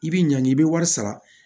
I bi ɲangi i bɛ wari sara